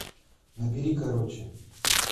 набери короче